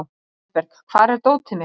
Sæberg, hvar er dótið mitt?